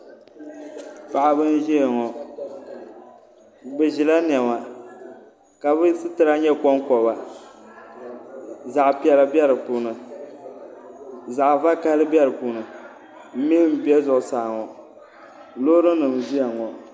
Paɣaba n ʒiya ŋɔ bi ʒila niɛma ka bi sitira nyɛ konkoba zaɣ piɛla bɛ di puuni zaɣ vakaɣali bɛ di puuni mihi n bɛ zuɣusaa ŋɔ loori nim n ʒiya ŋɔ